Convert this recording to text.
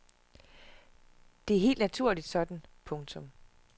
Det er helt naturligt sådan. punktum